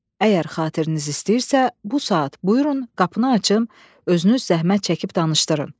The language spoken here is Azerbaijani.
Əgər xatiriniz istəyirsə, bu saat buyurun, qapını açım, özünüz zəhmət çəkib danışdırın.